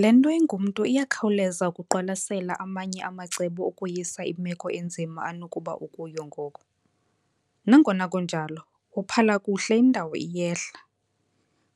Le nto ingumntu iyakhawuleza ukuqwalasela amanye amacebo okweyisa imeko enzima anokuba ukuyo ngoku. Nangona kunjalo, wophala kuhle indawo iyehla.